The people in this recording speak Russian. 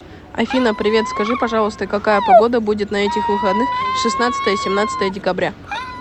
афина привет скажи пожалуйста какая погода будет на этих выходных шестнадцатое семнадцатое декабря